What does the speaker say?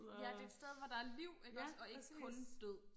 ja det er et sted hvor der er liv iggås og ikke kun død